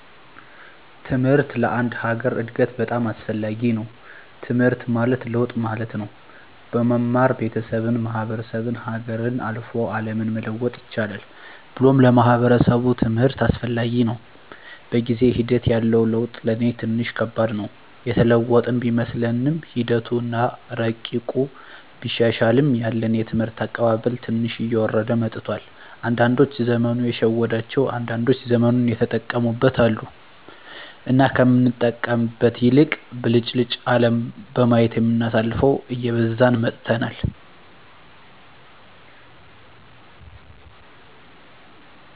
ትምሕርት ለአንድ ሀገር እድገት በጣም አስፈላጊ ነዉ። ትምሕርት ማለት ለውጥ ማለት ነው። በመማር ቤተሠብን፣ ማሕበረሰብን፣ ሀገርን፣ አልፎ አለምን መለወጥ ይቻላል ብሎም ለማሕበረሰቡ ትምህርት አስፈላጊ ነው። በጊዜ ሒደት ያለው ለውጥ ለኔ ትንሽ ከባድ ነው። የተለወጥን ቢመስለንምሒደቱ አና እረቂቁ ቢሻሻልም ያለን የትምህርት አቀባበል ትንሽ እየወረደ መጥቷል። አንዳዶች ዘመኑ የሸወዳቸው አንዳንዶች ዘመኑን የተጠቀሙበት አሉ። እና ከምንጠቀምበት ይልቅ ብልጭልጭ አለም በማየት የምናሳልፈው እየበዛን መጥተናል።